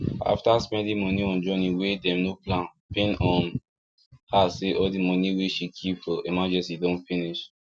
after spending money on journey wey dem no plan pain um her say all the money wey she keep for for emergency don finish